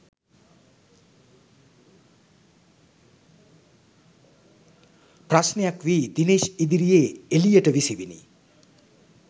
ප්‍රශ්නයක් වී දිනේෂ් ඉදිරියේ එලියට විසිවිණි